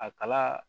A kalaa